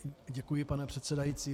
Děkuji, pane předsedající.